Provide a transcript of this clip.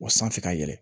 Wa sanfɛ ka yɛlɛ